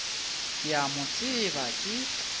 ke a mo tseba ke